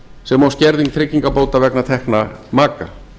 sem og skerðing tryggingabóta vegna tekna maka